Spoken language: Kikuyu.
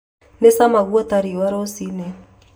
Nĩ cama guota riua rũcinĩ